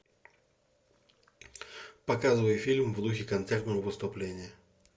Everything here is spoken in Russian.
показывай фильм в духе концертного выступления